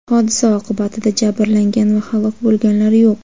hodisa oqibatida jabrlangan va halok bo‘lganlar yo‘q.